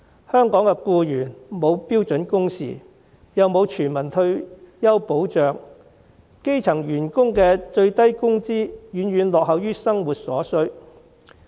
香港僱員沒有標準工時，沒有全民退休保障，基層員工的最低工資遠遠落後於生活所需。